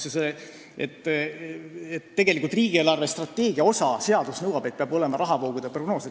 Tegelikult seadus nõuab, et riigi eelarvestrateegia osana peab olema rahavoogude prognoos.